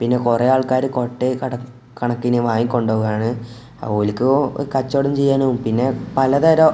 പിന്നെ കുറെ ആൾക്കാര് കൊട്ടയിൽ കട കണക്കിന് വാങ്ങി കൊണ്ടു പോവാണ് ഓൽക്ക് കച്ചോടം ചെയ്യാനും പിന്നെ പലതരം --